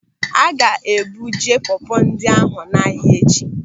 A ga-ebuje pọpọ ndị ahụ n'ahia echi.